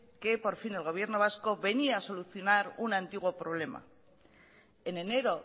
que por fin el gobierno vasco venía a solucionar un antiguo problema en enero